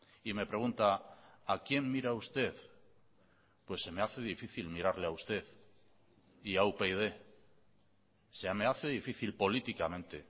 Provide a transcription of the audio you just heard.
y me pregunta a quién mira usted pues se me hace difícil mirarle a usted y a upyd se me hace difícil políticamente